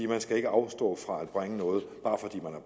man skal ikke afstå fra at bringe noget